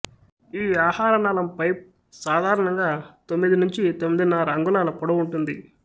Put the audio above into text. ఈ ఆహారనాళం పైప్ సాధారణంగా తొమ్మిది నుంచి తొమ్మిదిన్నర అంగుళాల పొడవుంటుంది